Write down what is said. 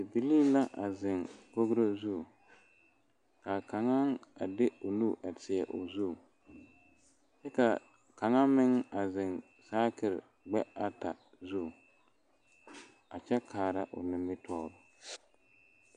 Bibilii la a zeŋ dakogro zu kaa kaŋa a de o nu a tie o zu kyɛ kaa kaŋa meŋ a zeŋ saakere gbɛɛ ata zu a kyɛ kaara o nimitɔɔre